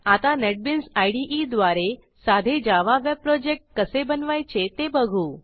आता NetBeans IDE द्वारे साधे जावा वेब प्रोजेक्ट कसे बनवायचे ते बघू